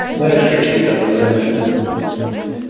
знаешь какие там экзамены